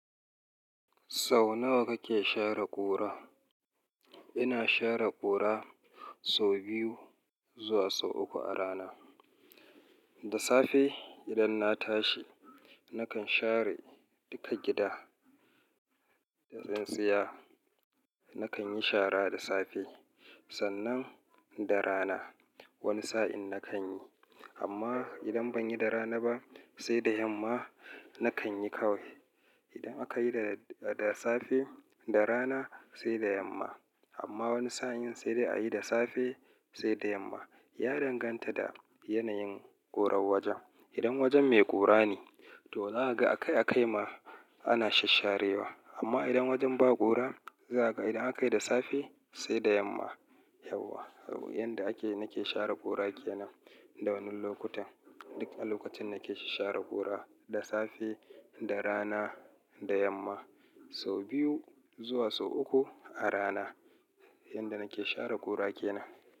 Sau nawa kake share ƙura? Ina share ƙura sau biyu zuwa sau uku a rana. Da safe idan na tashi nakan share duka gida da tsintsiya. Nakan yi shara da safe, sannan da rana wani sa'in nakan yi. Amma idan ban yi da rana ba sai da yamma nakan yi kawai. Idan aka yi da safe, da rana sai da yamma. Amma wani sa'in sai dai a yi da safe sai da yamma. Ya danganta da yanayin ƙurar wajen. Idan wajen mai ƙura ne to za ka ga a kai a kai ma ana shasharewa. Amma idan wajen ba ƙura za kaga, idan aka yi da safe sai da yamma, yauwa. Yanda ake nake share ƙura ke nan. Da wane lokuta? Duk a lokacin nake share ƙura, da safe, da rana, da yamma. Sau biyu zuwa sau uku a rana. Yanda nake share ƙura ke nan.